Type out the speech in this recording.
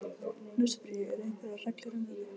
Nú spyr ég- eru einhverjar reglur um þetta?